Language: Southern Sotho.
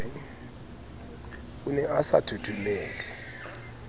o ne a sa thothomele